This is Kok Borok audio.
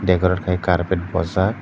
eko aro khai karpet bojak.